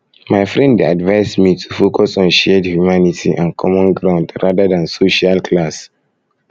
my friend dey advise me to focus on shared humanity and common ground rather than social class